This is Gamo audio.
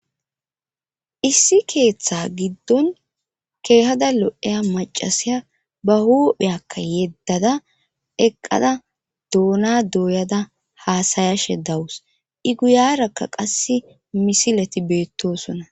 Issi keeththa giddon keehada lo'eya macasiya bahupheyakka yeddada eqqada doona dooyada haasayashe dawus iguyarakka qass misileti beettosona.